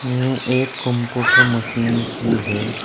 ये एक computer machine सी है।